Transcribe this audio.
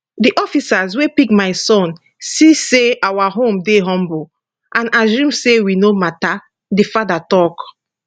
di officers wey pick my son see say our home dey humble and assume say we no matter di father tok